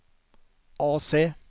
AC